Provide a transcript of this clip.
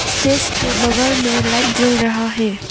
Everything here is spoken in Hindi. स्टेज के बगल में लाइट जल रहा है।